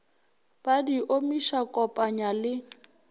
ba di omiša kopanya le